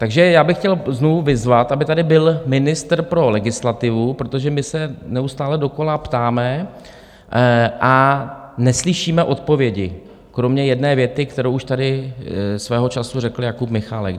Takže já bych chtěl znovu vyzvat, aby tady byl ministr pro legislativu, protože my se neustále dokola ptáme a neslyšíme odpovědi kromě jedné věty, kterou už tady svého času řekl Jakub Michálek.